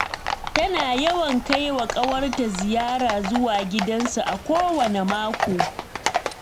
Tana yawan kai wa ƙawarta ziyara zuwa gidansu a kowanne mako